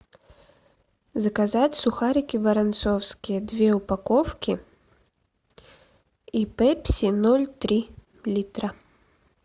заказать сухарики воронцовские две упаковки и пепси ноль три литра